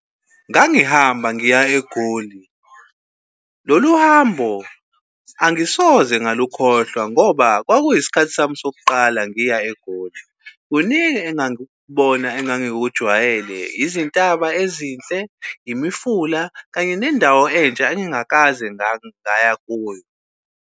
Ngangihamba ngiya eGoli. Lolu hambo angisoze ngalukhohlwa ngoba kwakuyisikhathi sami sokuqala ngiya eGoli. Kuningi engangikubona engangikujwayele, izintaba ezinhle, imifula kanye nendawo entsha engingakaze ngaya kuyo.